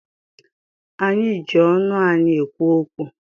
Anyị ji ọnụ anyị ekwu okwu.